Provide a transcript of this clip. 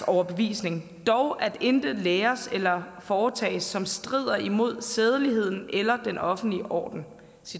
overbevisning dog at intet læres eller foretages som strider imod sædeligheden eller den offentlige orden